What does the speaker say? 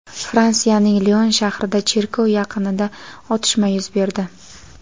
Fransiyaning Lion shahrida cherkov yaqinida otishma yuz berdi.